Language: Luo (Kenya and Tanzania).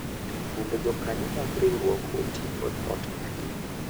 Mondo jokanyo mag riwruok oti kod ot margi,